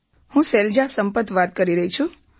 હું શૈલજા સંપત વાત કરી રહી છું